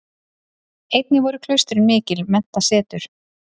Einnig voru klaustrin mikil menntasetur.